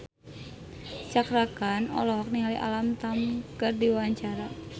Cakra Khan olohok ningali Alam Tam keur diwawancara